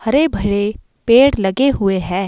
हरे भरे पेड़ लगे हुए हैं।